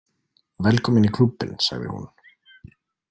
Velkomin í klúbbinn, sagði hún.